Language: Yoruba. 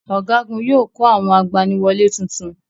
Ọ̀gágun yóò kọ́ àwọn olùgbaniwọlé tuntun.